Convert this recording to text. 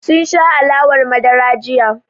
Sun sha alawar madara jiya.